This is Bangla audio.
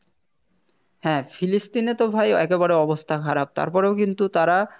হ্যাঁ Palestine এ তো ভাই একেবারে অবস্থা খারাপ তারপরেও কিন্তু তারা